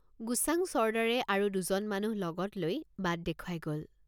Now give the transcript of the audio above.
গোচাং ছৰ্দাৰে আৰু দুজন মানুহ লগত লৈ বাট দেখুৱাই গল।